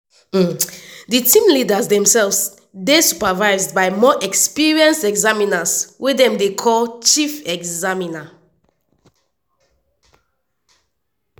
di team leaders demsefs dey supervised by more experienced examiners wey dem dey call chief examiners.